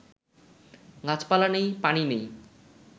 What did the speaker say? গাছপালা নেই, পানি নেই